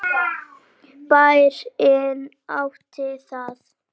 Bærinn átti það.